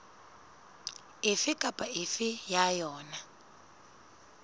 efe kapa efe ya yona